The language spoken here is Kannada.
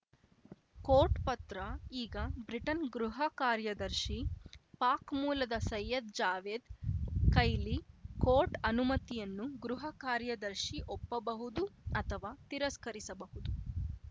ಕೋರ್ಟ್‌ ಪತ್ರ ಈಗ ಬ್ರಿಟನ್‌ ಗೃಹ ಕಾರ‍್ಯದರ್ಶಿ ಪಾಕ್‌ ಮೂಲದ ಸಯ್ಯದ್‌ ಜಾವೇದ್‌ ಕೈಲಿ ಕೋರ್ಟ್‌ ಅನುಮತಿಯನ್ನು ಗೃಹ ಕಾರ್ಯದರ್ಶಿ ಒಪ್ಪಬಹುದು ಅಥವಾ ತಿರಸ್ಕರಿಸಬಹುದು